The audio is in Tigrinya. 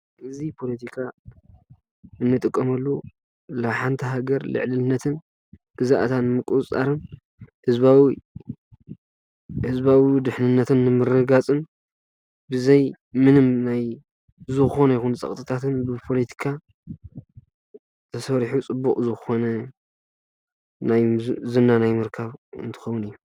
እዚ ፖለቲካ እንጥቀመሉ ንሓንቲ ሃገር ልዕልነትን ግዝአታን ምቁፅፃርን ህዝባዊ ድሕንነት ንምርግጋፅን ብዘይ ምንም ናይ ዝኾነ ይኹን ፀቅጢታትን ናይ ፖለቲካ ተሰሪሑ ፅቡቅ ዝኾነ ዝና ናይ ምርካብ እንትኸውን እዩ።